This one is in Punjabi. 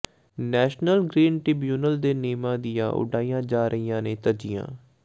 ਨੈਸ਼ਨਲ ਗਰੀਨ ਟਿ੍ਬਿਊਨਲ ਦੇ ਨਿਯਮਾਂ ਦੀਆਂ ਉਡਾਈਆਂ ਜਾ ਰਹੀਆਂ ਨੇ ਧੱਜੀਆਂ